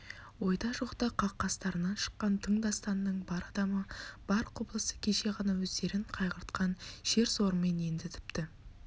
ойда жоқта қақ қастарынан шыққан тың дастанның бар адамы бар құбылысы кеше ғана өздерін қайғыртқан шер-сорымен енді тіпті